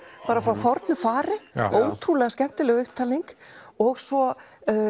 úr fornu fari ótrúlega skemmtileg upptalning og svo